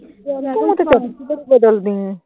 ਤੂੰ ਤਾਂ ਬਦਲਦੀ ਐ।